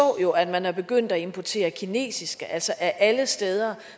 jo at man er begyndt at importere kinesere altså af alle steder